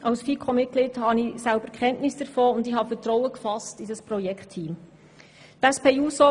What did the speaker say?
Als FiKo-Mitglied habe ich selber Kenntnis davon und habe in das Projektteam Vertrauen gefasst.